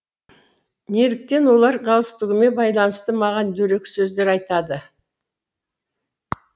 неліктен олар галстугіме байланысты маған дөрекі сөздер айтады